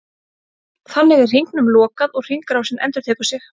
Þannig er hringnum lokað og hringrásin endurtekur sig.